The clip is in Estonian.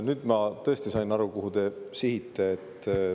Nüüd ma tõesti sain aru, kuhu te sihite.